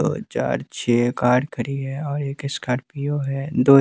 दो चार छह कार खरी है और एक स्कार्पियो है दो --